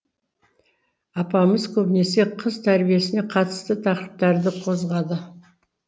апамыз көбінесе қыз тәрбиесіне қатысты тақырыптарды қозғады